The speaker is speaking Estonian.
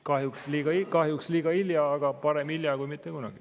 Kahjuks on see liiga hilja, aga parem hilja kui mitte kunagi.